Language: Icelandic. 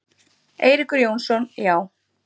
Eiríkur Jónsson: Já.